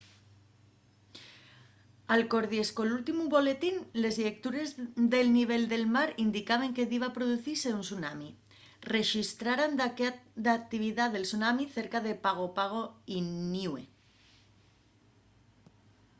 alcordies col últimu boletín les llectures del nivel del mar indicaben que diba producise un tsunami rexistraran daqué d'actividá de tsunami cerca de pago pago y niue